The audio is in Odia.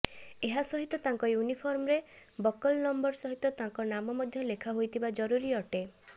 ଏହାସହିତ ତାଙ୍କ ୟୂନିଫର୍ମରେ ବକଲ ନମ୍ବର ସହିତ ତାଙ୍କ ନାମ ମଧ୍ୟ ଲେଖା ହୋଇଥିବା ଜରୁରୀ ଅଟେ